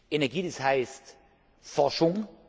Energie, das heißt Forschung.